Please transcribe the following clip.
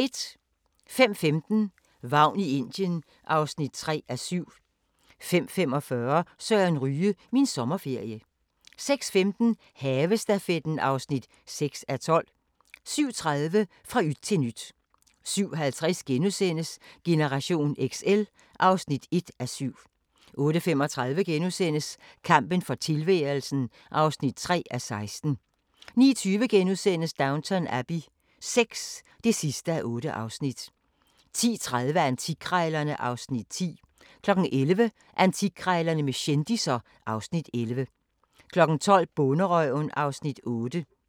05:15: Vagn i Indien (3:7) 05:45: Søren Ryge – Min sommerferie 06:15: Havestafetten (6:12) 07:30: Fra yt til nyt 07:50: Generation XL (1:7)* 08:35: Kampen for tilværelsen (3:16)* 09:20: Downton Abbey VI (8:8)* 10:30: Antikkrejlerne (Afs. 10) 11:00: Antikkrejlerne med kendisser (Afs. 11) 12:00: Bonderøven (Afs. 8)